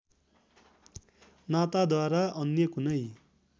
नाताद्वारा अन्य कुनै